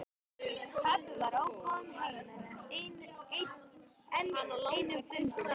Pabbi var ókominn heim af enn einum fundinum.